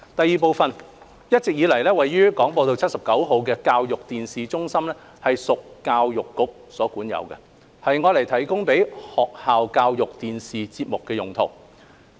二一直以來，位於廣播道79號的教育電視中心屬教育局所管有，供製作學校教育電視節目的用途。